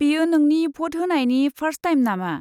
बेयो नोंनि भट होनायनि फार्स्ट टाइम नामा?